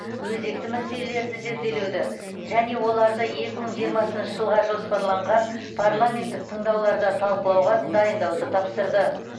өзекті мәселелерді зерделеуді және оларды екі мың жиырмасыншы жылға жоспарланған парламенттік тыңдауларда талқылауға дайындауды тапсырды